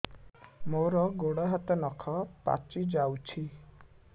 ମୋର ଗୋଡ଼ ହାତ ନଖ ପାଚି ଯାଉଛି